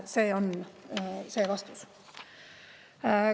See on vastus.